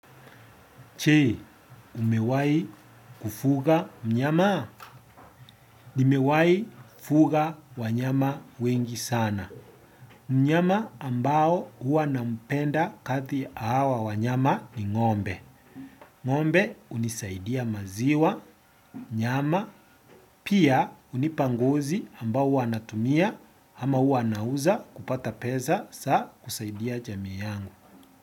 Je, umewahi kufuga mnyama? Nimewahi kufuga wanyama wengi sana. Mnyama ambao huwa nampenda kati hawa wanyama ni ng'ombe. Ng'ombe hunisaidia maziwa, nyama, pia hunipa nguzi ambao huwa natumia ama huwa nauza kupata pesa, saa kusaidia jamii yangu.